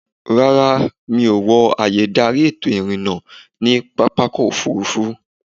Rárá, mi ò wọ ààyè-ìdarí ètò ìrìnnà ní pápákọ̀-òfurufú.